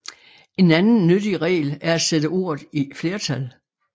En anden nyttig regel er at sætte ordet i flertal